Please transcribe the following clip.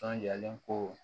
Sɔnjalen ko